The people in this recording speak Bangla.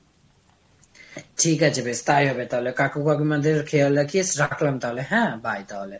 ঠিক আছে বেশ তাই হবে তাহলে। কাকু কাকিমাদের খেয়াল রাখিস, রাখলাম তাহলে হ্যাঁ? bye তাহলে।